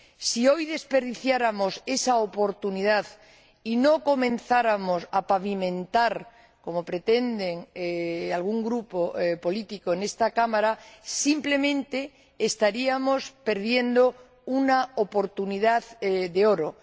Si hoy desperdiciáramos esa oportunidad y no comenzáramos a pavimentar el camino, como pretende algún grupo político en esta Cámara, simplemente estaríamos perdiendo una oportunidad de oro.